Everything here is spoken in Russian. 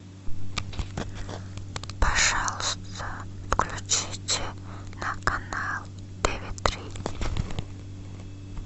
пожалуйста включите на канал тв три